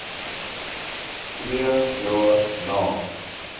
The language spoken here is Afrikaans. twee jaar na